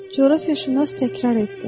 Coğrafiyaşünas təkrar etdi.